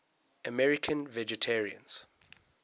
american vegetarians